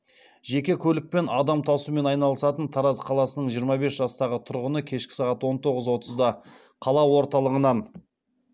жеке көлікпен адам тасумен айналысатын тараз қаласының жиырма бес жастағы тұрғыны кешкі сағат он тоғыз отызда қала орталығынан